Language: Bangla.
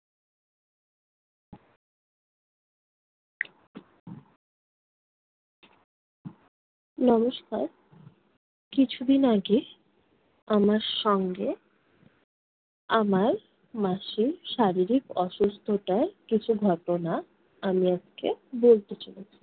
নমস্কার। কিছুদিন আগে আমার সঙ্গে আমার মাসীর শারীরিক অসুস্থতার কিছু ঘটনা আমি আপনাকে বলতে চাই।